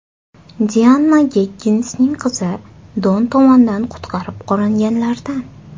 Dianna Gegginsning qizi Don tomonidan qutqarib qolinganlardan.